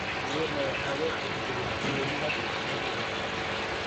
Awoodda waxaa loo tixgeliyaa sida malab dabiici ah.